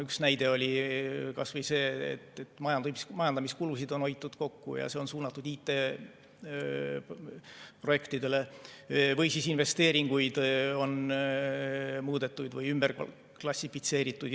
Üks näide oli kas või see, et majandamiskulusid on hoitud kokku ja see on suunatud IT‑projektidele, või on investeeringuid muudetud või ümber klassifitseeritud.